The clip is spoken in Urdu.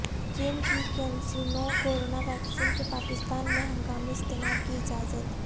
چین کی کینسینو کورونا ویکسین کے پاکستان میں ہنگامی استعمال کی اجازت